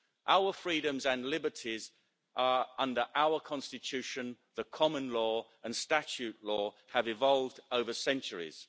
Our freedoms and liberties under our constitution, the common law and statute law, have evolved over centuries.